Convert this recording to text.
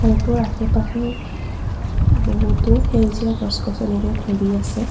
ঘৰটোৰ আশে পাশে বহুতো সেউজীয়া গছ গছনিৰে ভৰি আছে।